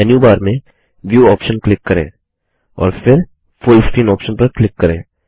menu bar में view option click करें और फिर फुल स्क्रीन ऑप्शन पर क्लिक करें